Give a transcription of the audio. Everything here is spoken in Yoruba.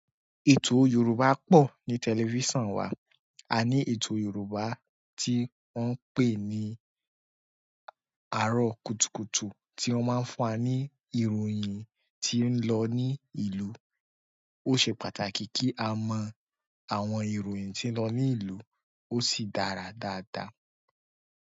Ètò Yorùbá pọ̀ ní tẹlifíson wa. Àní ètò yorùbá tí wọ́n ń pè ni aro kùtùkùtù tí wọ́n máa fún wa ni ìròyìn tí o ń lọ ni ìlú. Ó ṣe pàtàkì kí a mọ àwọn ìròyìn tí ń lọ ní ìlú, ó sì dára dáadáa.